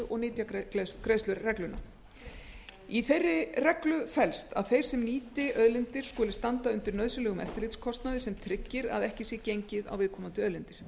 og nytjagreiðsluregluna í þeirri reglu felst að þeir sem nýti auðlindir skuli standa undir nauðsynlegur eftirlitskostnaði sem tryggir að ekki sé gengið á viðkomandi auðlindir